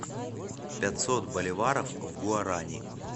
пятьсот боливаров в гуарани